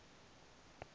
torah people